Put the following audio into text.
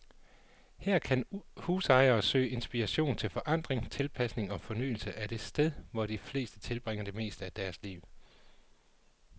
Her kan husejere søge inspiration til forandring, tilpasning og fornyelse af det sted, hvor de fleste tilbringer det meste af deres liv.